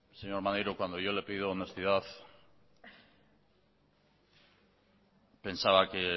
señor maneiro cuando yo le he pedido honestidad pensaba que